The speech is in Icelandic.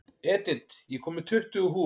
Edith, ég kom með tuttugu húfur!